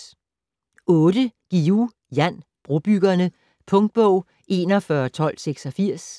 Guillou, Jan: Brobyggerne Punktbog 411286